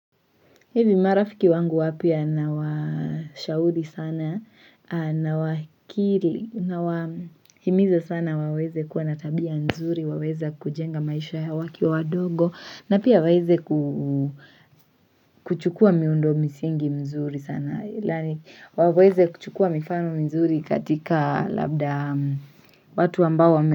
Hivi marafiki wangu wapya nawashahuri sana, na wakili, nawahimiza sana waweze kuwa na tabia mzuri, waweze kujenga maisha yao wakiwa wadogo, na pia waweze kuchukua miundo msingi mzuri sana, waweze kuchukua mifano mzuri katika labda watu ambao wame.